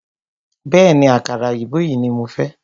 Bẹ̀ẹ́ni, àkàrà òyìnbó yìí ní mo fẹ́.